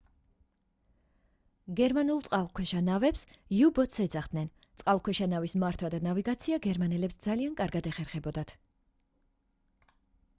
გერმანულ წყალქვეშა ნავებს u-boats ეძახდნენ წყალქვეშა ნავის მართვა და ნავიგაცია გერმანელებს ძალიან კარგად ეხერხებოდათ